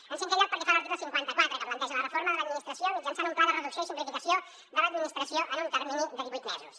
en cinquè lloc pel que fa a l’article cinquanta quatre que planteja la reforma de l’administració mitjançant un pla de reducció i simplificació de l’administració en un termini de divuit mesos